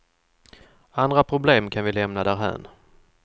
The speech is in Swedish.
Andra problem kan vi lämna därhän.